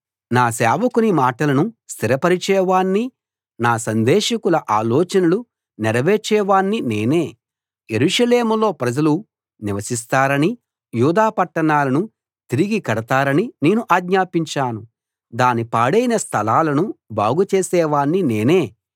నా సేవకుని మాటలను స్థిరపరిచే వాణ్ణీ నా సందేశకుల ఆలోచనలు నెరవేర్చే వాణ్ణీ నేనే యెరూషలేములో ప్రజలు నివసిస్తారనీ యూదా పట్టణాలను తిరిగి కడతారనీ నేను ఆజ్ఞాపించాను దాని పాడైన స్థలాలను బాగు చేసేవాణ్ణి నేనే